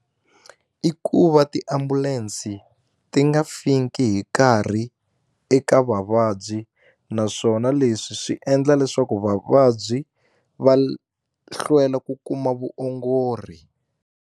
I ku va tiambulensi ti nga fiki hi nkarhi eka vavabyi naswona leswi swi endla leswaku vavabyi va hlwela ku kuma vuongori.